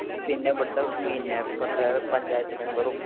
പിന്നെ ആ ഇവിടുത്തെ പഞ്ചായത്ത്‌ പഞ്ചായത്ത്‌ മെമ്പറും